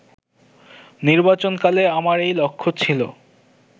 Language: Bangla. নির্বাচনকালে আমার এই লক্ষ্য ছিল